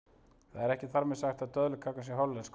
það er ekki þar með sagt að döðlukakan sé hollenskur